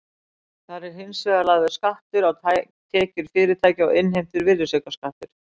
Þar er hins vegar lagður skattur á tekjur fyrirtækja og innheimtur virðisaukaskattur.